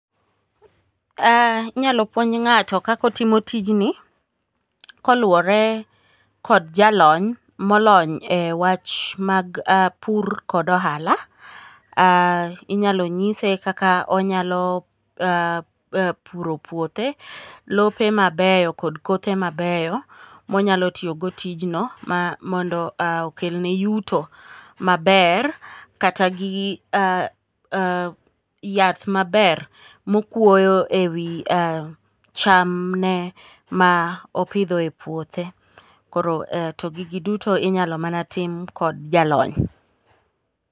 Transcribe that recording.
Inyalo puonj ng'ato kaka otimo tijni, koluwore kod jalony molony e wach mag pur kod ohala. Inyalo nyise kaka onyalo puro puothe, lope mabeyo kod kothe mabeyo monyalo tiyogo tijno mondo okelne yuto maber kata gi yath maber mokwoyo e wi chamne ma opidho epuothe, koro to gigi duto inyalo mana tim kod jalony.